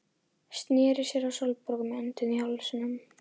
Sneri sér að Sólborgu með öndina í hálsinum.